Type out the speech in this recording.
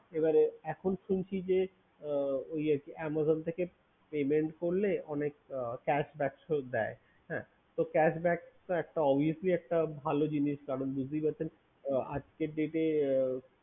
এখন বলছি যে Amazon থেকে pay করলে অনেক cashback দেয় তো cashback তো obviously একটা ভালো জিনিস আপনি বুঝতেই পারছেন আজকের ডেটে